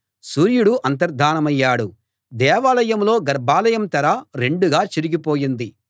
సూర్యుడు అంతర్థానమయ్యాడు దేవాలయంలో గర్భాలయం తెర రెండుగా చిరిగిపోయింది